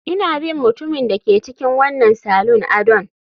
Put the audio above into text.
Ina bin mutumin da ke cikin wannan salon adon